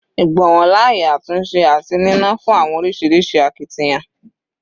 Igbonwo laaye atunse ati nínàá fun orisirisi akitiyan